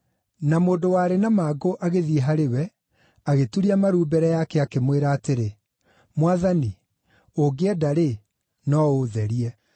Na mũndũ warĩ na mangũ agĩthiĩ harĩ we, agĩturia maru mbere yake, akĩmwĩra atĩrĩ, “Mwathani, ũngĩenda-rĩ, no ũũtherie.”